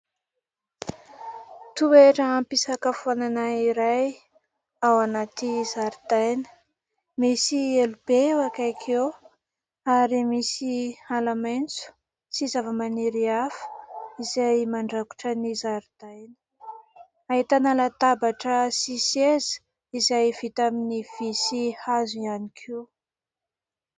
Toeram-pisakafoanana iray ao anaty zaridaina. Misy elo be eo akaiky eo ary misy ala maitso sy zava-maniry hafa izay mandakotra ny zaridaina. Ahitana latabatra sy seza izay vita amin'ny vỳ sy hazo ihany koa.